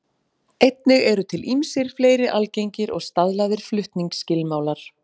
Einnig eru til ýmsir fleiri algengir og staðlaðir flutningsskilmálar.